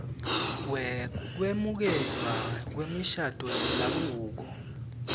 wekwemukelwa kwemishado yendzabuko